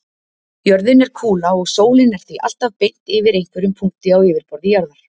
Jörðin er kúla og sólin er því alltaf beint yfir einhverjum punkti á yfirborði jarðar.